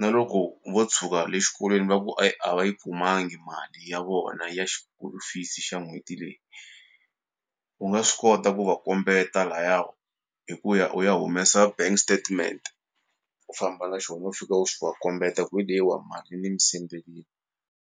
na loko vo tshuka le xikolweni va ku e, a va yi kumangi mali ya vona ya xikolo fees xa n'hweti leyi u nga swi kota ku va kombeta laya hi ku ya u ya humesa bank statement u famba na xona u fika u xi va kombeta ku hi leyiwa mali ni mi sendelini.